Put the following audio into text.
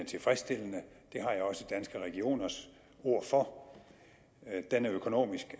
tilfredsstillende det har jeg også danske regioners ord for den er økonomisk